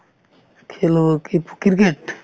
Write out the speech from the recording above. খেল হ'ব কি ফু cricket